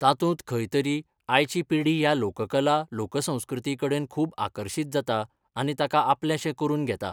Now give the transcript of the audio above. तातूंत खंय तरी आयची पिढी ह्या लोककला लोकसंस्कृती कडेन खूब आकर्शित जाता आनी ताका आपलेंशें करून घेता.